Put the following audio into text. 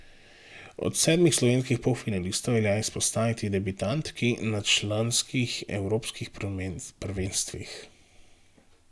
Od sedmih slovenskih polfinalistov velja izpostaviti debitantki na članskih evropskih prvenstvih.